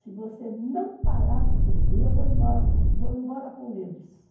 Se você não parar de beber, eu vou embora vou embora com eles.